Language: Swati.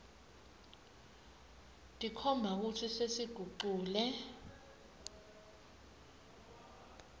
tikhomba kutsi sesigucule